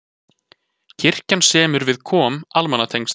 Kirkjan semur við KOM almannatengsl